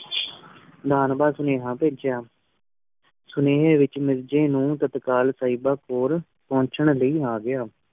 ਨਾਮ ਦਾ ਸੁਨੇਹਾ ਭੇਜਿਆ ਸੁਨੇਹੇ ਵਿਚ ਮਿਰਜ਼ੇ ਨੂ ਤਤਕਾਲ ਸਾਹਿਬਾ ਕੋਲ ਪਹੰਚਣ ਲਈ ਆ ਗਿਆ